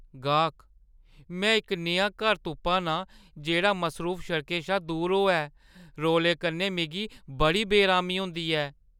गाह्कः "में इक नेहा घर तुप्पा ना आं जेह्ड़ा मसरूफ सड़कें शा दूर होऐ – रौले कन्नै मिगी बड़ी बेअरामी होंदी ऐ।"